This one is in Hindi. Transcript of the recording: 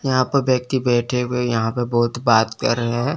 यहां पर व्यक्ति बैठे हुए यहां प बहोत बात कर रहे हैं।